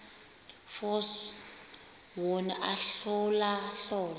force wona ahlolahlole